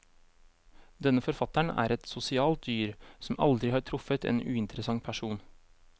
Denne forfatteren er et sosialt dyr, som aldri har truffet en uinteressant person.